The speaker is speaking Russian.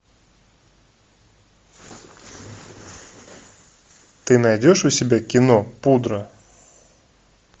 ты найдешь у себя кино пудра